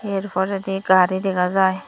er poredi gari dega jiy.